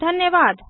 धन्यवाद